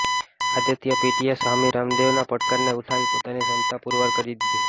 આદિત્ય પીટ્ટીએ સ્વામી રામદેવના પડકારને ઉઠાવી પોતાની ક્ષમતા પુરવાર કરી દીધી